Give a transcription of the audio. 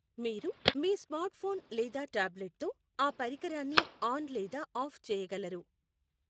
మీరు మీ స్మార్ట్ఫోన్ లేదా టాబ్లెట్ తో ఆ పరికరాన్ని ఆన్ లేదా ఆఫ్ చేయగలరు